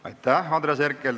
Aitäh, Andres Herkel!